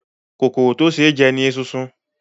Kòkòrò tí ó ṣe é jẹ ni esunsun.